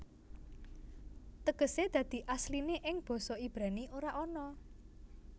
Tegesé dadi asliné ing basa Ibrani ora ana